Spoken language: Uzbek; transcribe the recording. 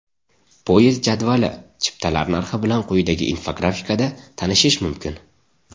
Poyezd jadvali, chiptalar narxi bilan quyidagi infografikada tanishish mumkin.